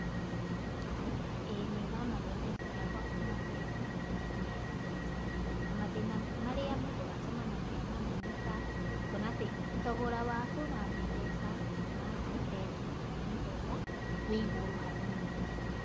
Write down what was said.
Iĩ nĩ thamagia mbeca ciakwa kuma bengi nginya Mpesa. Na mathĩna marĩa mũndũ acemanagia namo nĩ ta kuona atĩ thogora wa gũthamia mbeca kuma bengi nginya Mpesa wĩ igũrũ hanini.